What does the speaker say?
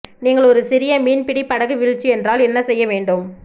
நீங்கள் ஒரு சிறிய மீன்பிடி படகு வீழ்ச்சி என்றால் என்ன செய்ய வேண்டும்